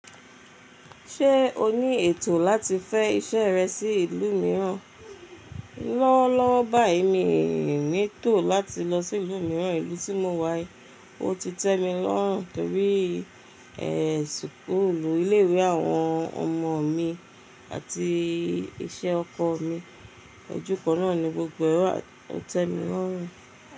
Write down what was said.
Ṣé o ní ètò láti fẹ iṣẹ́ rẹ sí ìlú mìíràn? Lọ́wọ́lọ́wọ́ báyìí min ní ètò láti lọ sí ìlú mìíràn, ìlú tí mo wà yi o ti tẹ́mi lọ́hùn torí suuku ilé ìwé àwọn ọmọ mi àti iṣẹ́ ọkọ mi. Ọ̀júkan náà ni gbogbo ẹ̀ wa o tẹ́mi lọ́rùn.